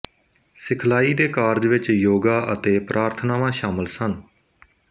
ਸਿਖਲਾਈ ਦੇ ਕਾਰਜ ਵਿਚ ਯੋਗਾ ਅਤੇ ਪ੍ਰਾਰਥਨਾਵਾਂ ਸ਼ਾਮਲ ਸਨ